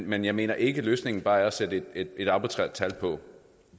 men jeg mener ikke at løsningen bare er at sætte et arbitrært tal på